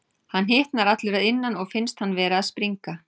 Hann hitnar allur að innan og finnst hann vera að springa.